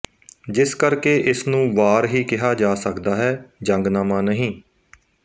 ਜਿਸ ਕਰ ਕੇ ਇਸਨੂੰ ਵਾਰ ਹੀ ਕਿਹਾ ਜਾ ਸਕਦਾ ਹੈ ਜੰਗਨਾਮਾ ਨਹੀਂ